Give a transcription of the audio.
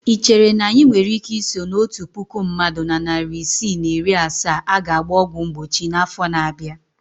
Ị chere na anyị nwere ike iso na otu puku mmadụ na narị isii na iri asaa a ga-agba ọgwụ mgbochi n'afọ na-abịa?